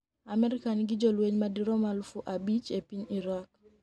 Amerka nigi jolweny madirom aluf abich e piny Iraq.